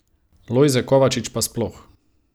Lojze Kovačič pa sploh.